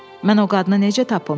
Mən o qadını necə tapım?